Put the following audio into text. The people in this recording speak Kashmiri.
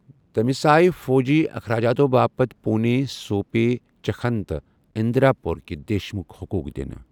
تٔمِس آیہ فوٗجی اخراجاتو باپتھ پوٗنے، سوٗپے ، چھکن تہٕ اِندا پوٗرٕکہِ دیشمُکھ حقوٗق دِنہٕ ۔